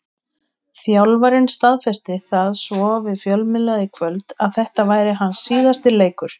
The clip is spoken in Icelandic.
Þjálfarinn staðfesti það svo við fjölmiðla í kvöld að þetta væri hans síðasti leikur.